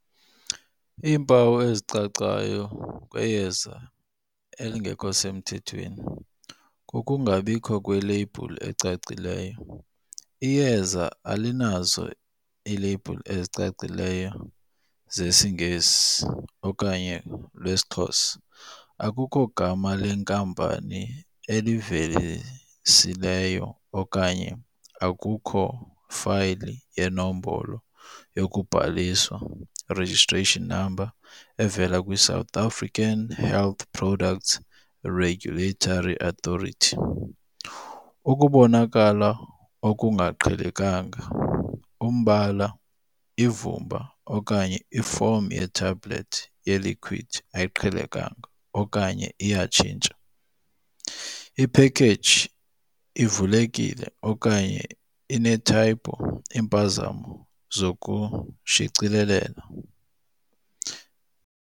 Iimpawu ezicacayo kweyeza elingekho semthethweni kukungabikho kweleyibhuli ecacileyo. Iyeza alinazo iileyibhuli ezicacileyo zesiNgesi okanye lwesiXhosa, akukho gama lenkampani elivelisileyo okanye akukho fayili yenombolo yokubhaliswa, i-registration number evela kwiSouth African Health Product Regulatory Authority. Ukubonakala okungaqhelekanga, umbala, ivumba okanye ifomu ye-tablet, ye-liquid ayiqhelekanga okanye iyatshintsha, iphekeji ivulekile okanye ine-typo, iimpazamo zokushicilelela.